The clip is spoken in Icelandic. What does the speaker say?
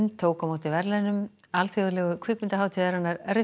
tók á móti verðlaunum alþjóðlegu kvikmyndahátíðarinnar